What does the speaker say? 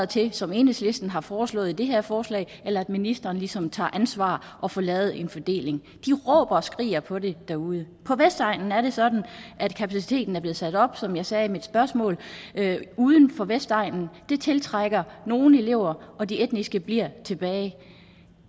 til som enhedslisten har foreslået i det her forslag eller også ministeren ligesom ansvar og får lavet en fordeling de råber og skriger på det derude på vestegnen er det sådan at kapaciteten er blevet sat op som jeg sagde i mit spørgsmål uden for vestegnen det tiltrækker nogle elever og de etniske bliver tilbage